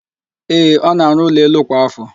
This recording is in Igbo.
Ee, ọ na-àrụ́ ụlọelu kwa ạfọ.